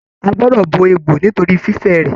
A gbọdọ bo egbò nitori fifẹ rẹ.